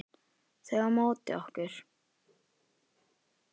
Þau á móti okkur.